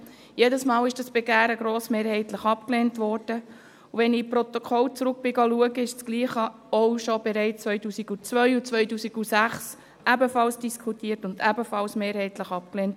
Jedes Mal wurde dieses Begehren grossmehrheitlich abgelehnt, und wenn ich in die Protokolle zurückging, um nachzuschauen, wurde das Gleiche 2002 und 2006 ebenfalls schon diskutiert und ebenfalls mehrheitlich abgelehnt.